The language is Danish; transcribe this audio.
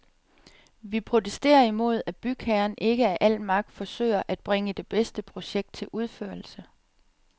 Vi protesterer imod, at bygherren ikke af al magt forsøger at bringe det bedste projekt til udførelse.